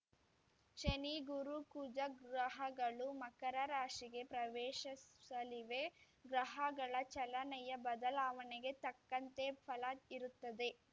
ಶನಿ ಗುರು ಕುಜ ಗ್ರಹಗಳು ಮಕರ ರಾಶಿಗೆ ಪ್ರವೇಶಿಸಲಿವೆ ಗ್ರಹಗಳ ಚಲನೆಯ ಬದಲಾವಣೆಗೆ ತಕ್ಕಂತೆ ಫಲ ಇರುತ್ತದೆ